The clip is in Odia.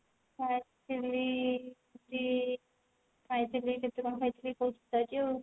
ହଁ actually ଖାଇଛି ଆଉ